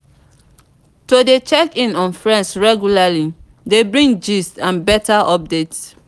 to de check in on friends regularly de bring gist and better update